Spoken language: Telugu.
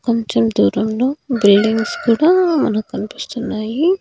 కొంచెం దూరంలో బిల్డింగ్స్ కూడా మనక్ కనిపిస్తున్నాయి.